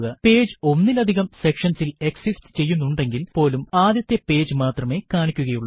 page ഒന്നിലധികം sections ഇൽ exist ചെയ്യുന്നുണ്ടെങ്കിൽ പോലും ആദ്യത്തെ പേജ് മാത്രമേ കാണിക്കുക ഉള്ളൂ